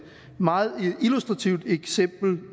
meget illustrativt eksempel